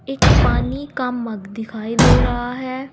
एक पानी का मग दिखाई दे रहा है।